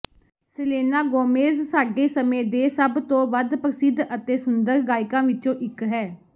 Selena Gomez ਸਾਡੇ ਸਮੇਂ ਦੇ ਸਭ ਤੋਂ ਵੱਧ ਪ੍ਰਸਿੱਧ ਅਤੇ ਸੁੰਦਰ ਗਾਇਕਾਂ ਵਿੱਚੋਂ ਇੱਕ ਹੈ